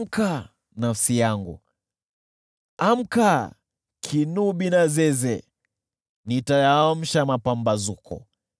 Amka, nafsi yangu! Amka, kinubi na zeze! Nitayaamsha mapambazuko.